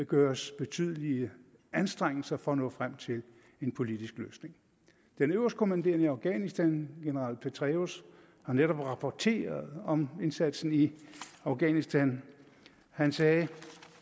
gøres betydelige anstrengelser for at nå frem til en politisk løsning den øverstkommanderende i afghanistan general petraeus har netop rapporteret om indsatsen i afghanistan han sagde